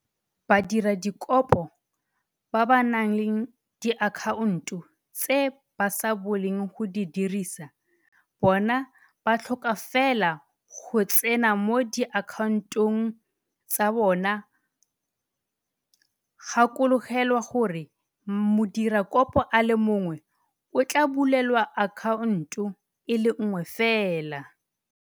Badiradikopo ba ba nang le diakhaonto tse ba sa bolong go di dirisa bona ba tlhoka fela go tsena mo diakhaontong tsa bona gakologelwa gore modirakopo a le mongwe o tla bulelwa akhaonto e le nngwe fela.